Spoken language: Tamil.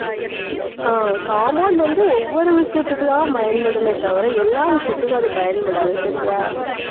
அஹ் compound வந்து, ஒவ்வொரு விஷயத்துக்குதான் பயன்படுமே தவிர எல்லா விஷயத்துக்கும் அது பயன்படாது சரியா